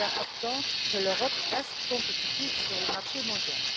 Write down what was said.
Il est important que l'Europe reste compétitive sur le marché mondial.